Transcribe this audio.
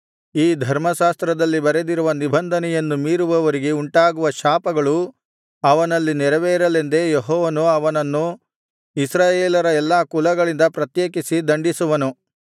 ಈ ಧರ್ಮಶಾಸ್ತ್ರದಲ್ಲಿ ಬರೆದಿರುವ ನಿಬಂಧನೆಯನ್ನು ಮೀರುವವರಿಗೆ ಉಂಟಾಗುವ ಶಾಪಗಳು ಅವನಲ್ಲಿ ನೆರವೇರಲೆಂದು ಯೆಹೋವನು ಅವನನ್ನು ಇಸ್ರಾಯೇಲರ ಎಲ್ಲಾ ಕುಲಗಳಿಂದ ಪ್ರತ್ಯೇಕಿಸಿ ದಂಡಿಸುವನು